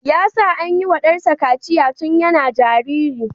Ya sa an yiwa dansa kaciya tun yana jariri.